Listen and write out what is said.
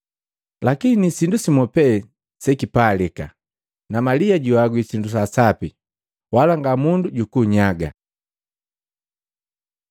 lakini sindu simu pe sekipalika. Na Malia juhagwi sindu sa sapi, wala ngamundu jukunnyagaje.”